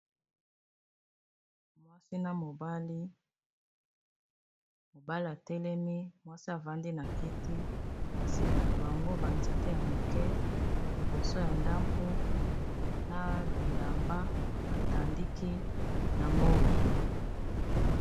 mwasina mobali mobali atelemi mwasi avandi na kiti na nsima na bango banzete ya moke liboso ya ndako na bilamba batandiki na moi